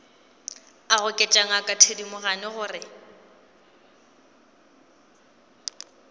a goketša ngaka thedimogane gore